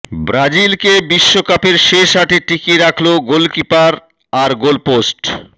ব্রাজিলকে বিশ্বকাপের শেষ আটে টিকিয়ে রাখল গোলকিপার আর গোলপোস্ট